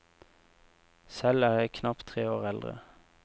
Selv er jeg knapt tre år eldre.